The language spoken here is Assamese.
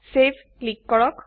চেভ ক্লিক কৰক